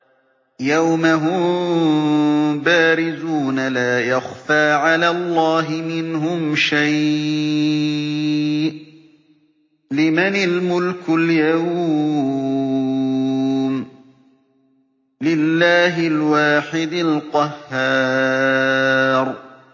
يَوْمَ هُم بَارِزُونَ ۖ لَا يَخْفَىٰ عَلَى اللَّهِ مِنْهُمْ شَيْءٌ ۚ لِّمَنِ الْمُلْكُ الْيَوْمَ ۖ لِلَّهِ الْوَاحِدِ الْقَهَّارِ